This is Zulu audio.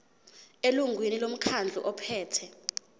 elungwini lomkhandlu ophethe